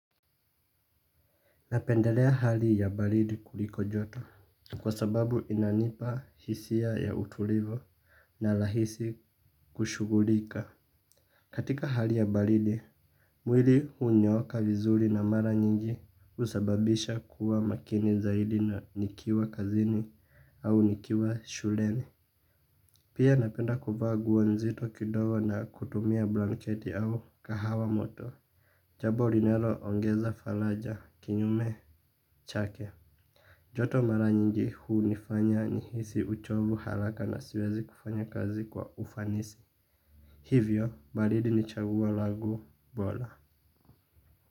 Napendelea hali ya baridi kuliko joto kwa sababu inanipa hisia ya utulivu na rahisi kushugulika. Katika hali ya balidi, mwili unyooka vizuri na mara nyingi usababisha kuwa makini zaidi na nikiwa kazini au nikiwa shuleni. Pia napenda kuvaa nguo nzito kidogo na kutumia blanketi au kahawa moto. Jambo linalo ongeza faraja, kinyume chake. Joto mara nyingi hunifanya nihisi uchovu haraka na siwezi kufanya kazi kwa ufanisi. Hivyo, baridi ni chaguo langu bora.